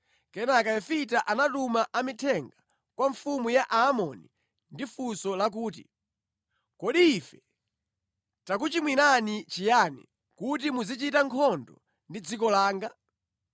Kenaka Yefita anatuma amithenga kwa mfumu ya Aamoni ndi funso lakuti, “Kodi ife takuchimwirani chiyani kuti muzichita nkhondo ndi dziko langa?”